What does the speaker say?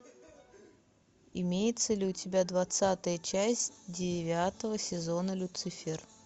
имеется ли у тебя двадцатая часть девятого сезона люцифер